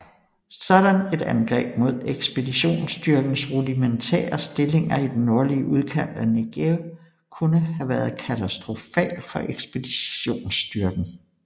Sådan et angreb mod ekspeditionsstyrkens rudimentære stillinger i den nordlige udkant af Negev kunne have været katastrofal for ekspeditionsstyrken